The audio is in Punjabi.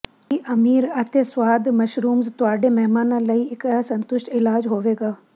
ਇਹ ਅਮੀਰ ਅਤੇ ਸਵਾਦ ਮਸ਼ਰੂਮਜ਼ ਤੁਹਾਡੇ ਮਹਿਮਾਨਾਂ ਲਈ ਇੱਕ ਅਸੰਤੁਸ਼ਟ ਇਲਾਜ ਹੋਵੇਗਾ